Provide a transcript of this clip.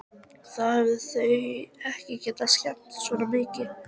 Þá hefðu þau ekki getað skemmt svona mikið.